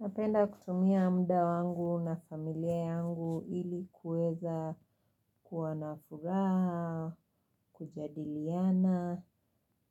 Napenda kutumia mda wangu na familia yangu ili kuweza kuwa na furaha, kujadiliana,